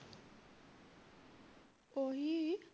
ਓਹੀ